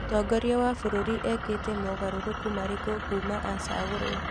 Mũtongoria wa bũrũri ekĩte mogarũrũku marĩkũ kuma acagũrwo?